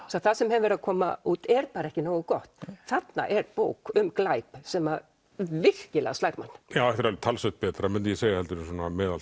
það sem hefur verið að koma út er bara ekki nógu gott þarna er bók um glæp sem að virkilega slær mann þetta er talsvert betra mundi ég segja heldur en meðal